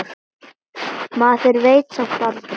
Maður veit samt aldrei.